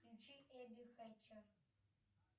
включи эбби хэтчер